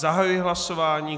Zahajuji hlasování.